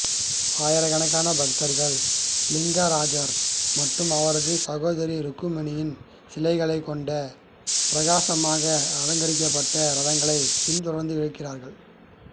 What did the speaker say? ஆயிரக்கணக்கான பக்தர்கள் லிங்கராஜா மற்றும் அவரது சகோதரி ருக்மணியின் சிலைகளைக் கொண்ட பிரகாசமாக அலங்கரிக்கப்பட்ட ரதங்களைப் பின்தொடர்ந்து இழுக்கிறார்கள்